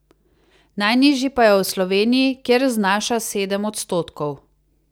Najnižji pa je v Sloveniji, kjer znaša sedem odstotkov.